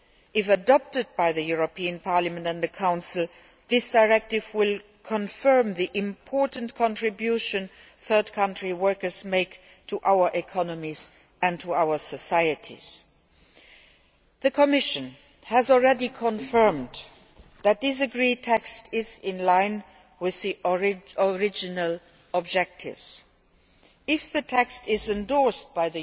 If adopted by Parliament and the Council, this directive will confirm the important contribution third country workers make to our economies and to our societies. The Commission has already confirmed that the text agreed upon is in line with the original objectives. If the text is endorsed